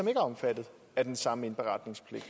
er omfattet af den samme indberetningspligt